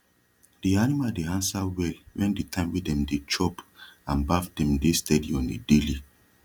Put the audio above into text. de animal dey ansa well wen de time wey dem dey chop and baff dem de steady on a daily